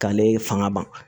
K'ale fanga ban